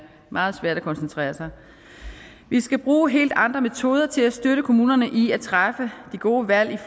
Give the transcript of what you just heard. meget svært at koncentrere sig vi skal bruge helt andre metoder til at støtte kommunerne i at træffe de gode valg